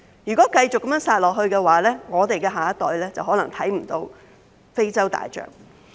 如果非法獵殺活動持續下去的話，我們的下一代就可能再也看不到非洲大象。